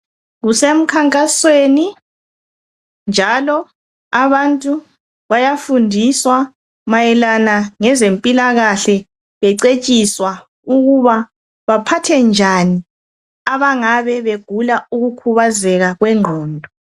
Kusemkhankasweni njalo abantu bayafundiswa mayelana ngezempilakahle becetshiswa ukuba baphathe njani abangabe begula ukukhubazeka kwengqondo.